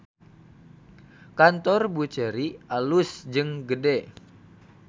Kantor Buccheri alus jeung gede